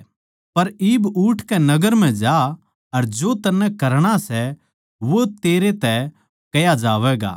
पर इब उठकै नगर म्ह जा अर जो तन्नै करणा सै वो तेरै तै कह्या जावैगा